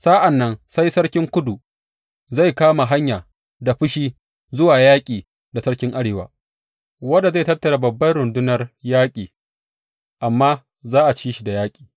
Sa’an nan sai sarkin Kudu zai kama hanya da fushi zuwa yaƙi da sarkin Arewa, wanda zai tattara babbar rundunar yaƙi, amma za a ci shi da yaƙi.